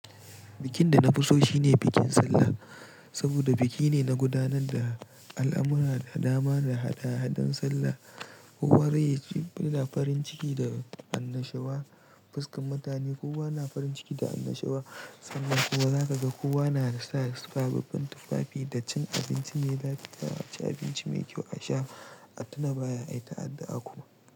Bikin da na fi so shine bikin Sallah, saboda biki ne na gudanar da al'amura da dama da hada-hadan sallah. Kowa da farin ciki da annashuwa, fuskan mutane kowa na farin ciki da annashuwa, sallah kuwa za ka ga kowa na sa sababbin tufafi da cin abinci mai lafiya, ci abinci mai kyau a sha, a tuna baya, ayi ta addu'a kuma.